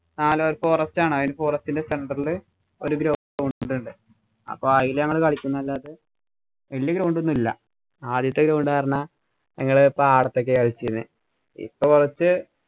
forest ആണ്. അതില് forest ഇന്‍റെ center ഇല് ഒരു ground ഉണ്ട്. അപ്പൊ അതില് ഞങ്ങള് കളിക്കൂന്നല്ലാതെ വല്യ ground ഒന്നുമില്ല. ആദ്യത്തെ ground ഞങ്ങള് പാടത്ത് ഒക്കെയാ കളിച്ചിരുന്നത്. ഇപ്പൊ കൊറച്ച്